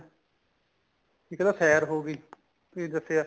ਇੱਕ ਤਾਂ ਸੈਰ ਹੋ ਗਈ ਕੀ ਦੱਸਿਆ